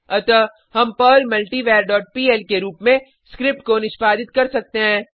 अतः हम Perl multivar dot PL के रूप में स्क्रिप्ट को निष्पादित कर सकते हैं